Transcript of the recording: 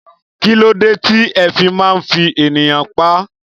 Kílódé tí ẹ fi máa ń fi ènìyàn pá?